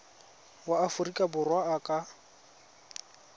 wa aforika borwa a ka